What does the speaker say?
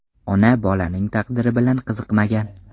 Ona bolaning taqdiri bilan qiziqmagan.